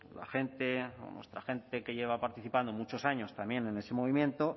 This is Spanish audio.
la gente o nuestra gente que lleva participando muchos años también en ese movimiento